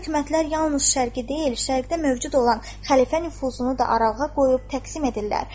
Bu hökumətlər yalnız Şərqi deyil, Şərqdə mövcud olan xəlifə nüfuzunu da aralığa qoyub təqsim edirlər.